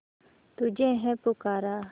तुझे है पुकारा